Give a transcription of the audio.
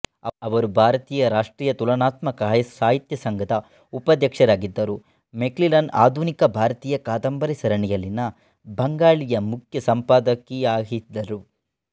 ಅವರು ಭಾರತೀಯ ರಾಷ್ಟ್ರೀಯ ತುಲನಾತ್ಮಕ ಸಾಹಿತ್ಯ ಸಂಘದ ಉಪಾಧ್ಯಕ್ಷರಾಗಿದ್ದರು ಮೆಕ್ಮಿಲನ್ ಆಧುನಿಕ ಭಾರತೀಯ ಕಾದಂಬರಿ ಸರಣಿಯಲ್ಲಿನ ಬಂಗಾಳಿಯ ಮುಖ್ಯ ಸಂಪಾದಕಿಯಾಹಿದ್ದರು